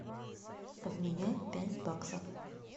обменять пять баксов